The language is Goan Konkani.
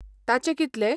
ताचे कितले?